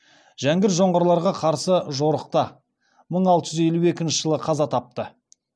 жәңгір жоңғарларға қарсы жорықта мың алты жүз елу екінші жылы қаза тапты